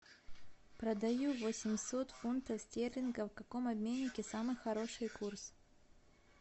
продаю восемьсот фунтов стерлингов в каком обменнике самый хороший курс